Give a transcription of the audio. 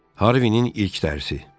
Harvinin ilk dərsi.